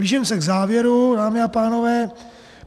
Blížím se k závěru, dámy a pánové.